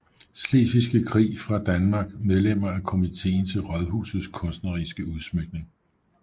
Slesvigske Krig fra Danmark Medlemmer af Komiteen til Raadhusets kunstneriske Udsmykning